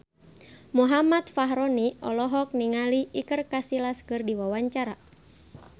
Muhammad Fachroni olohok ningali Iker Casillas keur diwawancara